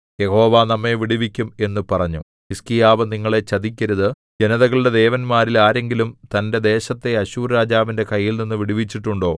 യഹോവ നമ്മെ വിടുവിക്കും എന്നു പറഞ്ഞു ഹിസ്കീയാവ് നിങ്ങളെ ചതിക്കരുത് ജനതകളുടെ ദേവന്മാരിൽ ആരെങ്കിലും തന്റെ ദേശത്തെ അശ്ശൂർരാജാവിന്റെ കൈയിൽനിന്നു വിടുവിച്ചിട്ടുണ്ടോ